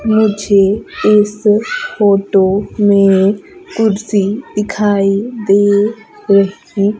मुझे इस फोटो में कुर्सी दिखाई दे रही--